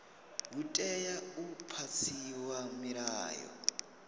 hu tea u phasiswa milayo